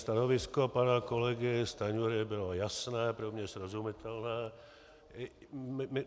Stanovisko pana kolegy Stanjury bylo jasné, pro mě srozumitelné.